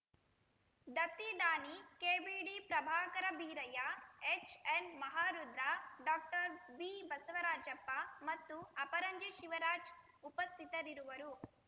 ದತ್ತಿದಾನಿ KBD Prabhakara Beerayya HN Maharudra doctor B Basavarajappa ಮತ್ತು ಅಪರಂಜಿ ಶಿವರಾಜ್‌ ಉಪಸ್ಥಿತರಿರುವರು